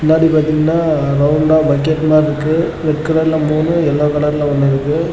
முன்னாடி பாத்திங்கன்னா ரவுண்டா பக்கெட் மாறி இருக்கு. ரெட் கலர்ல மூணு எல்லோ கலர்ல ஒன்னு இருக்கு.